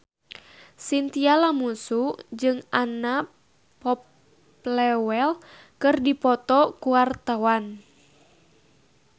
Chintya Lamusu jeung Anna Popplewell keur dipoto ku wartawan